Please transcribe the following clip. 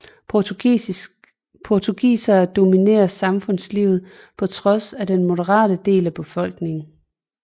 Portugisere dominere samfundslivet på trods af den moderate del af befolkningen